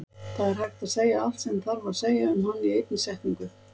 Það er hægt að segja allt sem þarf að segja um hann í einni setningu.